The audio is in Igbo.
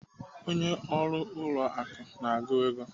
Onye ọrụ ụlọ akụ na-agụ ego.